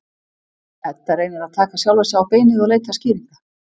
Edda reynir að taka sjálfa sig á beinið og leita skýringa.